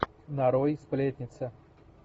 нарой сплетница